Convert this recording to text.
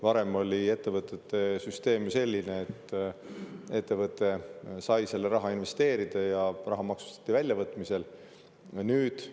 Varem oli ettevõtete puhul süsteem selline, et ettevõte sai selle raha investeerida ja raha maksustati väljavõtmise korral.